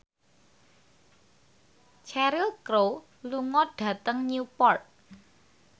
Cheryl Crow lunga dhateng Newport